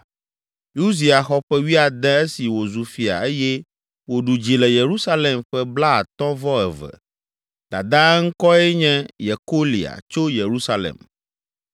Uzia xɔ ƒe wuiade esi wòzu fia eye wòɖu dzi le Yerusalem ƒe blaatɔ̃ vɔ eve. Dadaa ŋkɔe nye Yekolia tso Yerusalem.